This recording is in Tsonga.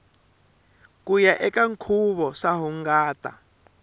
kuya eka nkhuvo swa hungata